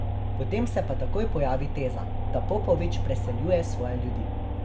Potem se pa takoj pojavi teza, da Popovič preseljuje svoje ljudi.